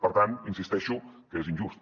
per tant insisteixo que és injust